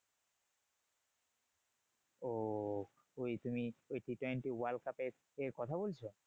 ওহ ওই তুমি ওই T twenty world cup এর কথা বলছো?